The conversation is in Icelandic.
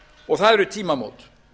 og það eru tímamót